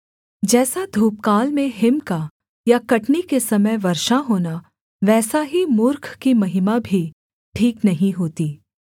जैसा धूपकाल में हिम का या कटनी के समय वर्षा होना वैसा ही मूर्ख की महिमा भी ठीक नहीं होती